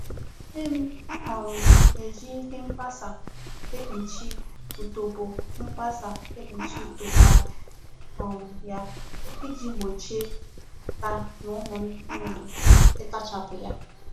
Nne m um na eji ihe nkpasa ekpuchi utobo nkpasa ekpuchi utobo ala um ya, iji gbochie nta na ụmụ nnụnụ itachapu ya